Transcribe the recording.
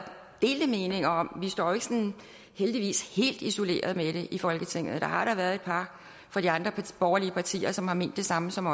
delte meninger om vi står jo heldigvis helt isoleret med det i folketinget der har da været et par fra de andre borgerlige partier som har ment det samme som